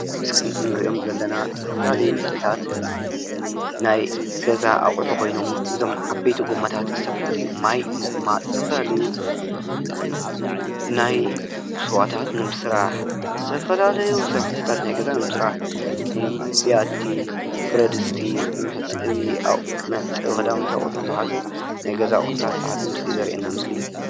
እዞም እንሪኦም ዘለና ዝተፈላለዩ ምስልታት ናይ ገዛ ኣቑሑ ኮይኖም እዞም ዓበይቲ ጎማታት ዝተፈላለዩ ማይ ንምቅማጥ፤ ዝተፈላለዩ ናይ ስዋታት ንምስራሕ ፤ዝተፈላለዩ ስራሒቲታት ናይ ገዛ ንምስራሕ ከም ቢያቲ፣ ብረድስቲ ፣መሕፀቢ ክዳውንቲ ኣቁሑ ዝሓዘ ናይ ገዛ ኣቁሕታት ዝሓዘን ምስሊ ዘርእየና ምስሊ እዩ፡፡